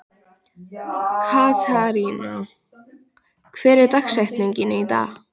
Katharina, hver er dagsetningin í dag?